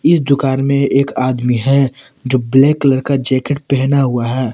इस दुकान में एक आदमी हैं जो ब्लैक कलर का जैकेट पहना हुआ हैं।